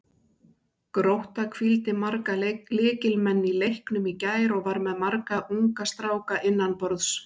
Grótta hvíldi marga lykilmenn í leiknum í gær og var með marga unga stráka innanborðs.